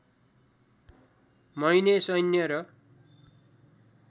महिने सैन्य र